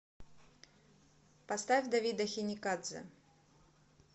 поставь давида хиникадзе